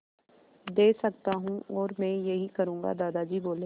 दे सकता हूँ और मैं यही करूँगा दादाजी बोले